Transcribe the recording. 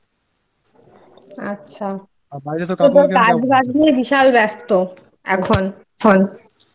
আচ্ছা কাজ বাদ দিয়ে বিশাল ব্যস্ত এখন